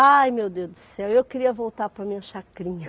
Ai meu Deus do céu, eu queria voltar para a minha chacrinha.